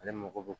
Ale mako bɛ